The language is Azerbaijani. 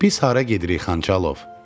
Biz hara gedirik, Xanxalov?